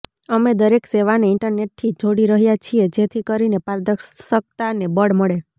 અમે દરેક સેવાને ઈન્ટરનેટથી જોડી રહ્યાં છીએ જેથી કરીને પારદર્શકતાને બળ મળે